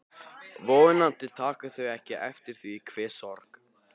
Vonandi taka þau ekki eftir því hve sorg